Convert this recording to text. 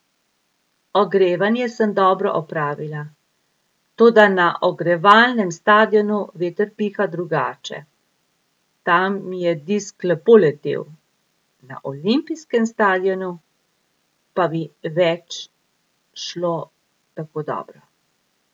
Ogrevanje sem dobro opravila, toda na ogrevalnem stadionu veter piha drugače, tam mi je disk lepo letel, na olimpijskem stadionu pa mi več šlo tako dobro.